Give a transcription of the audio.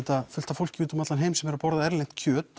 fullt af fólki úti um allan heim sem er að borða erlent kjöt